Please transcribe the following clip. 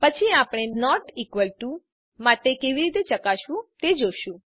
પછી આપણે not equal to માટે કેવી રીતે ચકાસવું તે જોશું